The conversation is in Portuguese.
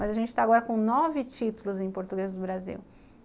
Mas a gente está agora com nove títulos em português do Brasil.